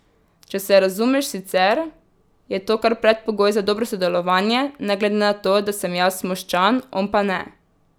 Če se razumeš sicer, je to kar predpogoj za dobro sodelovanje, ne glede na to, da sem jaz Moščan, on pa ne.